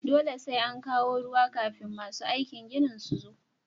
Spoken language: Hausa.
Dole sai an kawo ruwa kafin masu aikin ginin su zo